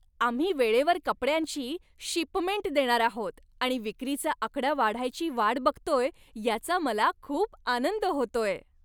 आम्ही वेळेवर कपड्यांची शिपमेंट देणार आहोत आणि विक्रीचा आकडा वाढायची वाट बघतोय याचा मला खूप आनंद होतोय.